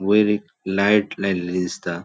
वयर एक लाइट लायिल्ली दिसता.